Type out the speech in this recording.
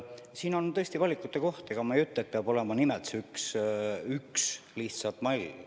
Siin on tõesti valikute koht, ega ma ei ütle, et peab olema nimelt see üks mall.